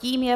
Tím je